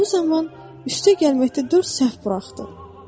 Topu zamanı üstə gəlməkdə dörd səhv buraxdı.